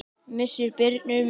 Missir Birnu er mikill.